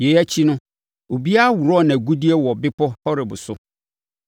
Yei akyi no, obiara worɔɔ nʼagudeɛ wɔ Bepɔ Horeb so.